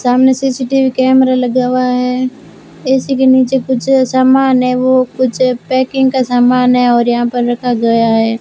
सामने CCTV camera लगा हुआ है ए_सी के नीचे कुछ सामान है वो कुछ पैकिंग का समान है और यहां पर रखा गया है।